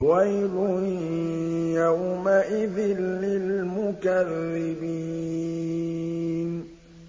وَيْلٌ يَوْمَئِذٍ لِّلْمُكَذِّبِينَ